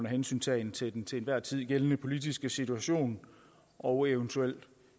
hensyntagen til den til enhver tid gældende politiske situation og eventuelle